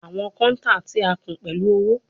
Awọn counter ti a kún pẹlu owo